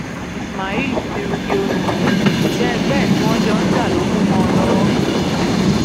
ismail ti rugi oyin òṣìṣẹ ẹgbẹ ẹ tí wọn jọ ń jà ló kù mọ ọn lọwọ